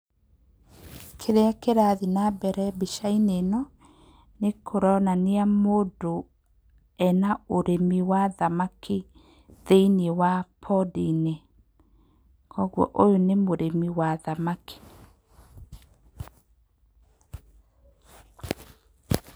Kĩrĩa kĩrathi na mbere mbica-inĩ ĩno, nĩkũronania mũndũ ena ũrĩmi wa thamaki thĩinĩ wa pond-inĩ. Koguo ũyũ nĩ mũrĩmi wa thamaki. Pause